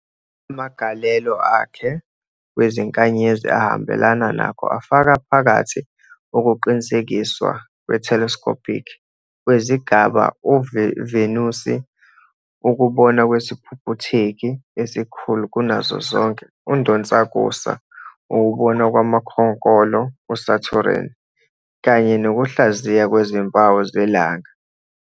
Amagalelo akhe ekubukweni kwezinkanyezi ahambelana nakho afaka phakathi ukuqinisekiswa kwe-telescopic kwezigaba uVenusi, ukubonwa kwesiphuphutheki esikhulu kunazo zonke UNdonsakusa, ukubonwa kwamakhonkolo uSatureni, kanye nokuhlaziywa kwezimpawu zelanga.